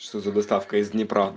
что за доставка из днепра